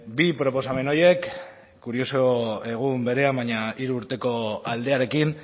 bi proposamen horiek kurioso egun berean baina hiru urteko aldearekin